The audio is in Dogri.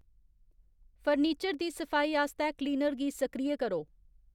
फर्नीचर दी सफाई आस्तै क्लीनर गी सक्रिय करो